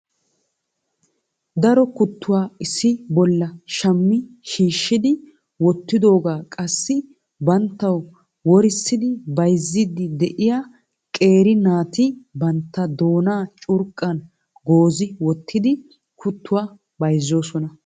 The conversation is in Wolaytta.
daro kuttuwa issi bolla shammi shiishshidi wottidooga qassi banttaw worissidi bayzzidi de'iyaa qeeri naati bantta doona curqqan goozi wottidi kuttuwaa bayzzoosona.